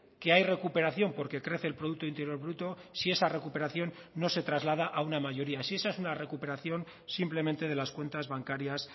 que hay recuperación porque crece el producto interior bruto si esa recuperación no se traslada a una mayoría si esa es una recuperación simplemente de las cuentas bancarias